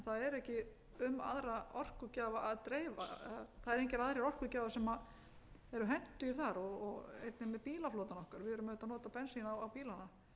ekki um aðra orkugjafa að dreifa það eru engir aðrir orkugjafar sem eru hentugir þar og einnig með bílaflota okkar við erum auðvitað að nota bensín á bílana